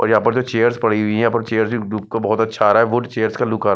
और यहाँ पर जो चेअर्स पड़ी हुई हैं यहाँ पर चेअर्स भी लुक बहुतही अच्छा आ रहा है वुड चेअर्स का लुक आ रहा--